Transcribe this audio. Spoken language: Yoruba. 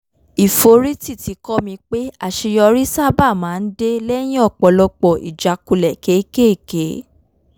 ìforítì ti kọ́ mi pé àṣeyọrí sábà máa ń dé lẹ́yìn ọ̀pọ̀lọpọ̀ ìjákulẹ̀ kéékèèké